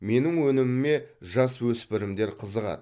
менің өніміме жасөспірімдер қызығады